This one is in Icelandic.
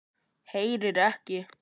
Heyrir ekki.